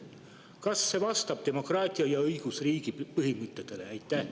Kas see vastab demokraatia ja õigusriigi põhimõtetele?